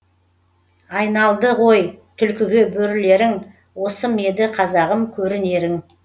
айналдығой тулкіге бөрілерің осы меді қазағым көрінерің